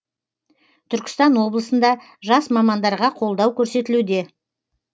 түркістан облысында жас мамандарға қолдау көрсетілуде